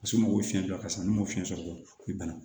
A somɔgɔw fiɲɛ dɔ ka sa ne m'o fiɲɛ sɔrɔ u bi bana